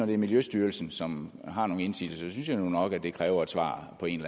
det er miljøstyrelsen som har nogle indsigelser så synes jeg nu nok at det kræver et svar på en